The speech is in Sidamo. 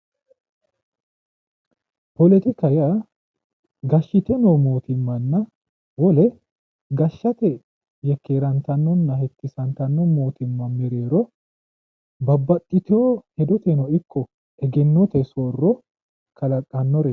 Politikaho yaa gashite noo mootimmanna wolu gashaate yekkerantanonna heewisantano mereero babbaxitino hedoteno ikko egennote soorro kalaqanoreti